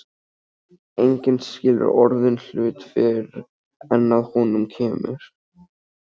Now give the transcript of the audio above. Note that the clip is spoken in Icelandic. Enginn skilur orðinn hlut fyrr en að honum kemur.